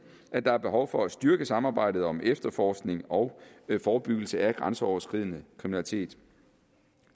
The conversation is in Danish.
at der er behov for at styrke samarbejdet om efterforskning og forebyggelse af grænseoverskridende kriminalitet